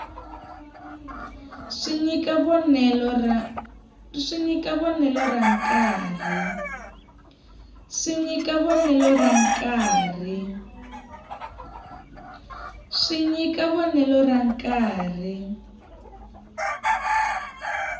swi nyika vonelo ra nkarhi